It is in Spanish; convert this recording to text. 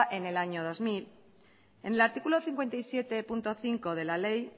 en el año dos mil en el artículo cincuenta y siete punto cinco de la ley